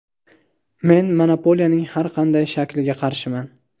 Men monopoliyaning har qanday shakliga qarshiman.